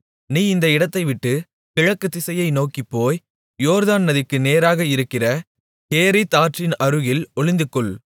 நீ இந்த இடத்தைவிட்டுக் கிழக்குத்திசையை நோக்கிப் போய் யோர்தான் நதிக்கு நேராக இருக்கிற கேரீத் ஆற்றின் அருகில் ஒளிந்துகொள்